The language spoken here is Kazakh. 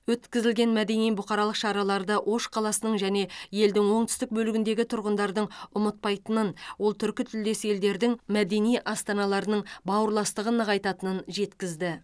өткізілген мәдени бұқаралық шараларды ош қаласының және елдің оңтүстік бөлігіндегі тұрғындардың ұмытпайтынын ол түркітілдес елдердің мәдени астаналарының бауырластығын нығайтатынын жеткізді